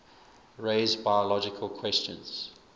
raise biological questions